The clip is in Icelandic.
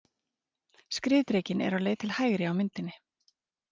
Skriðdrekinn er á leið til hægri á myndinni.